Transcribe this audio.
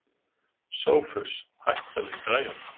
Sophus, hækkaðu í græjunum.